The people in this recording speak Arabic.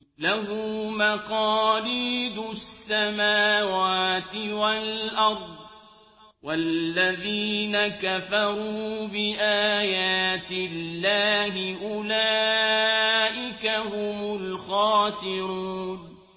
لَّهُ مَقَالِيدُ السَّمَاوَاتِ وَالْأَرْضِ ۗ وَالَّذِينَ كَفَرُوا بِآيَاتِ اللَّهِ أُولَٰئِكَ هُمُ الْخَاسِرُونَ